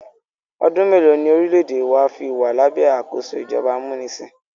ọdún mélòó ní orílẹ̀-èdè wa fí wà lábẹ́ àkóso ìjọba amúnisìn?